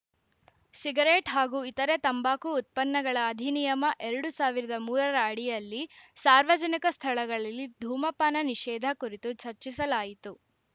cigarette ಹಾಗೂ ಇತರೆ ತಂಬಾಕು ಉತ್ಪನ್ನಗಳ ಅಧಿನಿಯಮ ಎರಡು ಸಾವಿರದ ಮೂರರ ಅಡಿಯಲ್ಲಿ ಸಾರ್ವಜನಿಕ ಸ್ಥಳಗಳಲ್ಲಿ ಧೂಮಪಾನ ನಿಷೇಧ ಕುರಿತು ಚರ್ಚಿಸಲಾಯಿತು